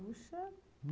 Puxa!